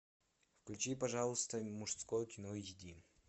включи пожалуйста мужское кино эйч ди